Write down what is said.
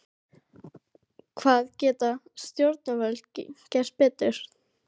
Hvað geta stjórnvöld gert betur?